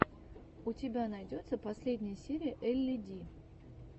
у тебя найдется последняя серия элли ди